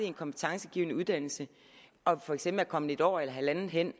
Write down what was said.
en kompetencegivende uddannelse og for eksempel er kommet et år eller halvandet ind